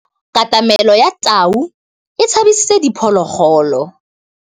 Katamêlô ya tau e tshabisitse diphôlôgôlô.